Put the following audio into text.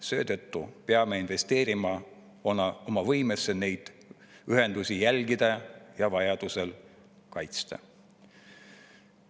Seetõttu peame investeerima oma võimesse neid ühendusi jälgida ja vajaduse korral kaitsta.